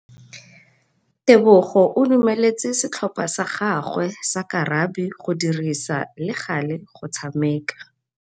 Tebogô o dumeletse setlhopha sa gagwe sa rakabi go dirisa le galê go tshameka.